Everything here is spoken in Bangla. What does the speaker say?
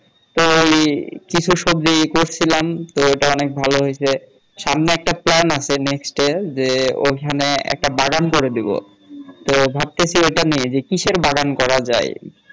তো ওই কিছু সবজি করছিলাম তো এটা অনেক ভালো হইছে সামনে একটা plan আছে next এ যে ওখানে একটা বাগান করে দিবো তো ভাবতেছি এটা নিয়ে যে কিসের বাগান করা যায়